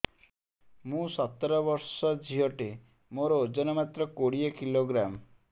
ମୁଁ ସତର ବର୍ଷ ଝିଅ ଟେ ମୋର ଓଜନ ମାତ୍ର କୋଡ଼ିଏ କିଲୋଗ୍ରାମ